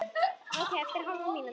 Ókei eftir hálfa mínútu.